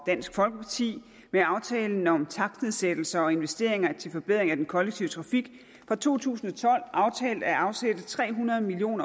dansk folkeparti med aftalen om takstnedsættelser og investeringer til forbedring af den kollektive trafik fra to tusind og tolv aftalt at afsætte tre hundrede million